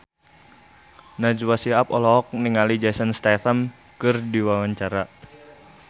Najwa Shihab olohok ningali Jason Statham keur diwawancara